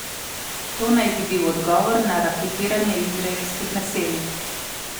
To naj bi bil odgovor na raketiranje izraelskih naselij.